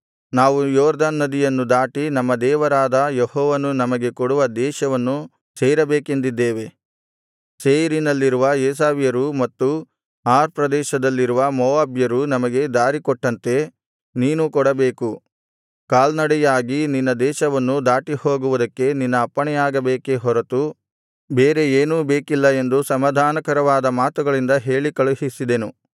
ನಾವು ಯೊರ್ದನ್ ನದಿಯನ್ನು ದಾಟಿ ನಮ್ಮ ದೇವರಾದ ಯೆಹೋವನು ನಮಗೆ ಕೊಡುವ ದೇಶವನ್ನು ಸೇರಬೇಕೆಂದಿದ್ದೇವೆ ಸೇಯೀರಿನಲ್ಲಿರುವ ಏಸಾವ್ಯರೂ ಮತ್ತು ಆರ್ ಪ್ರದೇಶದಲ್ಲಿರುವ ಮೋವಾಬ್ಯರೂ ನಮಗೆ ದಾರಿ ಕೊಟ್ಟಂತೆ ನೀನೂ ಕೊಡಬೇಕು ಕಾಲ್ನಡೆಯಾಗಿ ನಿನ್ನ ದೇಶವನ್ನು ದಾಟಿಹೋಗುವುದಕ್ಕೆ ನಿನ್ನ ಅಪ್ಪಣೆಯಾಗಬೇಕೇ ಹೊರತು ಬೇರೆ ಏನೂ ಬೇಕಿಲ್ಲ ಎಂದು ಸಮಾಧಾನಕರವಾದ ಮಾತುಗಳಿಂದ ಹೇಳಿ ಕಳುಹಿಸಿದೆನು